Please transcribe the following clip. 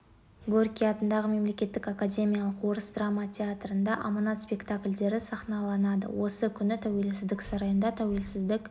горький атындағы мемлекеттік академиялық орыс драма театрында аманат спектаклдері сахналанады осы күні тәуелсіздік сарайында тәуелсіздік